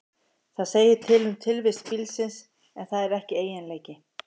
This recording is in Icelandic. Það segir til um tilvist bílsins, en það er ekki eiginleiki.